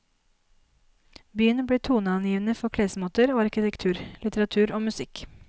Byen ble toneangivende for klesmoter og arkitektur, litteratur og musikk.